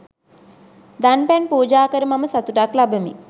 දන් පැන් පූජා කර මම සතුටක් ලබමි.